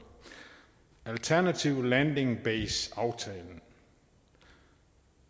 alternativ landing base aftale